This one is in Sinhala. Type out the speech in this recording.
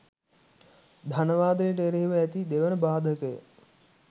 ධනවාදයට එරෙහිව ඇති දෙවන බාධකය